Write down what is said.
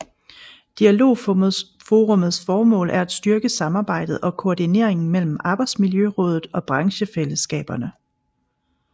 Dialogforummets formål er at styrke samarbejdet og koordineringen mellem Arbejdsmiljørådet og branchefællesskaberne